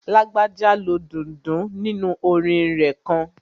Lágbájá lo dundun nínu orin rẹ̀ kan